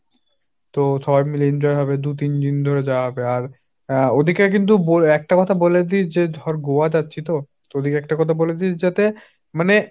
তো সবাই মিলে enjoy হবে, দু-তিন ধরে যাওয়া হবে আর ওদেরকে কিন্তু একটা কথা বলে দিস যে ধর গোয়া যাচ্ছি তো ওদেরকে একটা কথা বলে দিস যাতে মানে,